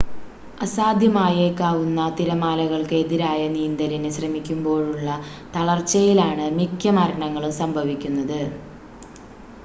അസാധ്യമായേക്കാവുന്ന തിരമാലകൾക്ക് എതിരായ നീന്തലിന് ശ്രമിക്കുമ്പോഴുള്ള തളർച്ചയിലാണ് മിക്ക മരണങ്ങളും സംഭവിക്കുന്നത്